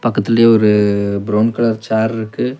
பக்கத்திலயே ஒரு brown colour சேர்ருக்கு .